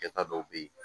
Kɛta dɔw bɛ yen